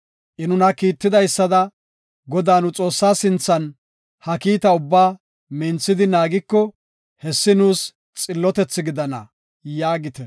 I nuna kiittidaysada, Godaa, nu Xoossaa sinthan ha kiita ubbaa minthidi naagiko, hessi nuus xillotethi gidana” yaagite.